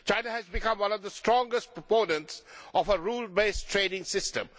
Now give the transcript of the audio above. China has become one of the strongest proponents of a rule based trading system.